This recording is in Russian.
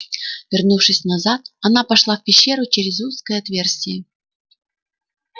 вернувшись назад она пошла в пещеру через узкое отверстие